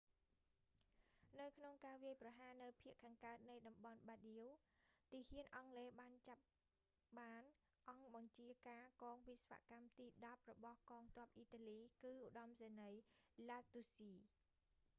នៅក្នុងការវាយប្រហារនៅភាគខាងកើតនៃតំបន់ បារដៀ bardia ទាហានអង់គ្លេសបានចាប់បានអង្គបញ្ជាការកងវិស្វកម្មទីដប់របស់កងទ័ពអ៊ីតាលី គឺឧត្តមសេនីយ៍ ឡាសទូស្ស៊ី lastucci